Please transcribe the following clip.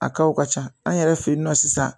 A kaw ka ca an yɛrɛ fe yen nɔ sisan